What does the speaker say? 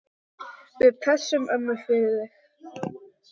Við pössum ömmu fyrir þig.